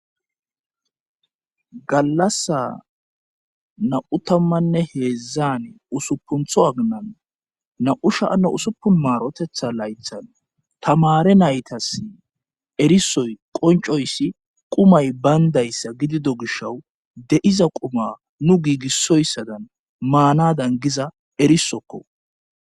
gallasa na7u tammanne heedzzan usupuntho aginan na7u shaana usuppu maarotetha laythan tamare naytas erisoy qoncoyssi qumay bayndayssa gidido gishawu de7iza quma nu giigissoyssadan maanadan giza erisokko